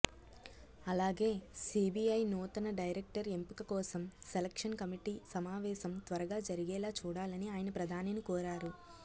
అలాగే సీబీఐ నూతన డైరెక్టర్ ఎంపిక కోసం సెలక్షన్ కమిటీ సమావేశం త్వరగా జరిగేలా చూడాలని ఆయన ప్రధానిని కోరారు